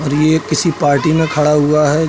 और ये किसी पार्टी में खड़ा हुआ है।